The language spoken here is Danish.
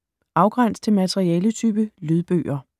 Afgræns til materialetype: lydbøger